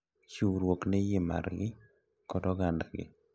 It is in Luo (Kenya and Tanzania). Chiwruok ne yie margi kod ogandagi.